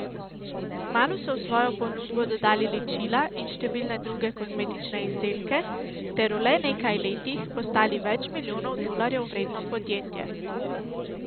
Kmalu so v svojo ponudbo dodali ličila in številne druge kozmetične izdelke ter v le nekaj letih postali več milijonov dolarjev vredno podjetje.